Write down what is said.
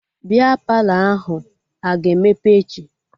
Bịa Palọ ahụ a ga-emepe echi?